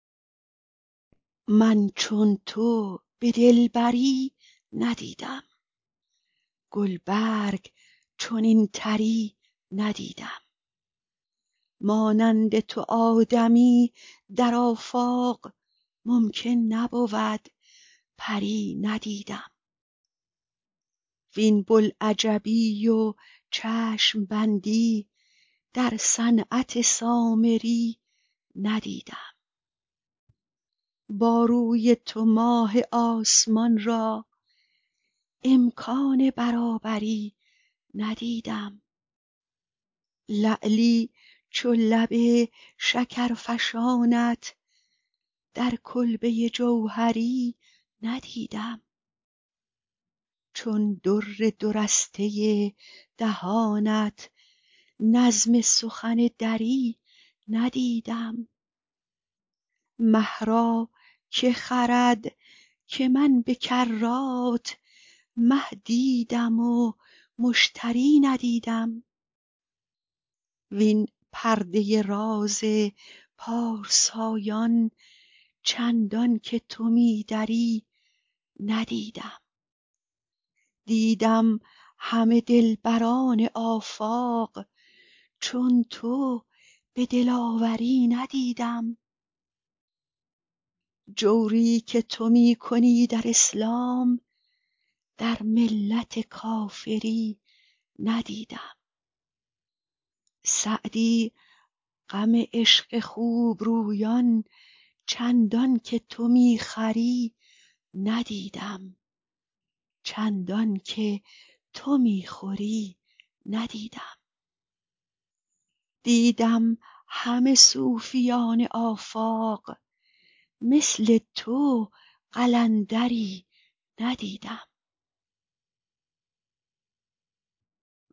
من چون تو به دلبری ندیدم گل برگ چنین طری ندیدم مانند تو آدمی در آفاق ممکن نبود پری ندیدم وین بوالعجبی و چشم بندی در صنعت سامری ندیدم با روی تو ماه آسمان را امکان برابری ندیدم لعلی چو لب شکرفشانت در کلبه جوهری ندیدم چون در دو رسته دهانت نظم سخن دری ندیدم مه را که خرد که من به کرات مه دیدم و مشتری ندیدم وین پرده راز پارسایان چندان که تو می دری ندیدم دیدم همه دلبران آفاق چون تو به دلاوری ندیدم جوری که تو می کنی در اسلام در ملت کافری ندیدم سعدی غم عشق خوب رویان چندان که تو می خوری ندیدم دیدم همه صوفیان آفاق مثل تو قلندری ندیدم